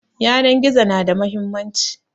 Yanan gizo na da muhimmanci